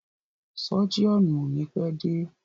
Sọ́jíọ̀nù o ni pẹ́ dé.